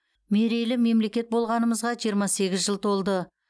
мерейлі мемлекет болғанымызға жиырма сегіз жыл толды